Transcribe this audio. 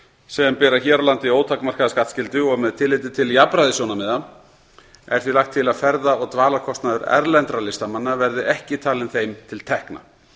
sem bera hér á landi ótakmarkaða skattskyldu og með tilliti til jafnræðissjónarmiða er því lagt til að ferða og dvalarkostnaður erlendra listamanna verði ekki talinn þeim til tekna